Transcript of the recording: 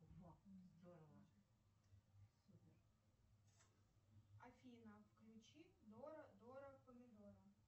афина включи дора дора помидора